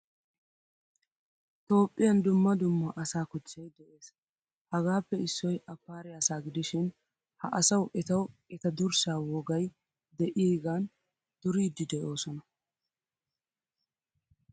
Toophphiyaan dumma dumma asa kochchay de'ees. Hagaappe issoy appare asa gidishin ha asawu etawu etta durssa wogay deiygan duridi deosona